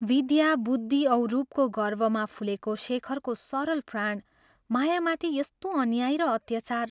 विद्या, बुद्धि औ रूपको गर्वमा फुलेको शेखरको सरल प्राण मायामाथि यस्तो अन्याय र अत्याचार!